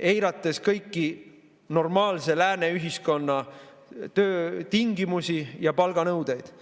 eirates kõiki normaalse lääne ühiskonna töötingimusi ja palganõudeid?